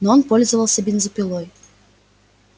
но он пользовался бензопилой